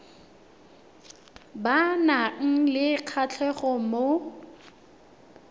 ba nang le kgatlhego mo